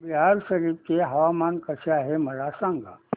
बिहार शरीफ चे हवामान कसे आहे मला सांगा